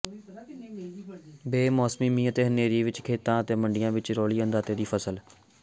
ਬੇਮੌਸਮੇ ਮੀਂਹ ਅਤੇ ਹਨੇਰੀ ਨੇ ਖੇਤਾਂ ਅਤੇ ਮੰਡੀਆਂ ਵਿੱਚ ਰੋਲੀ ਅੰਨਦਾਤੇ ਦੀ ਫ਼ਸਲ